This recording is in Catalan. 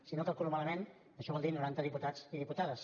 si no ho calculo malament això vol dir noranta diputats i diputades